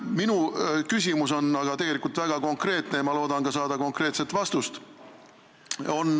Minu küsimus on aga väga konkreetne ja ma loodan saada konkreetset vastust.